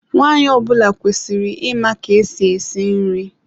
Nwaanyị ọ bụla kwesịrị ịma ka esi esi nri.